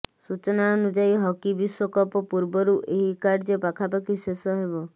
ସୂଚନା ଅନୁଯାୟୀ ହକି ବିଶ୍ୱକପ ପୂର୍ବରୁ ଏହି କାର୍ଯ୍ୟ ପାଖାପାଖି ଶେଷ ହେବ